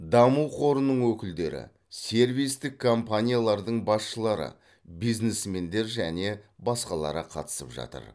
даму қорының өкілдері сервистік компаниялардың басшылары бизнесмендер және басқалары қатысып жатыр